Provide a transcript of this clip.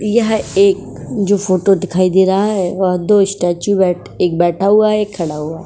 यह एक जो फोटो दिखाई दे रहा है वह दो स्टेचू बैठ एक बैठा हुआ है एक खड़ा हुआ है। --